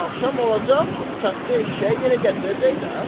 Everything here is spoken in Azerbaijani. Axşam olacaq, katta eşşək yenə gətirəcək də.